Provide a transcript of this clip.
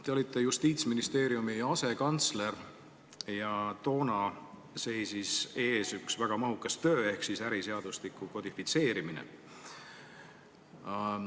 Te olite Justiitsministeeriumi asekantsler ja toona seisis ees üks väga mahukas töö – äriseadustiku kodifitseerimine.